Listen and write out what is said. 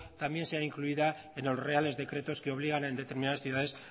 también sea influida en los reales decretos que obligan a en determinadas ciudades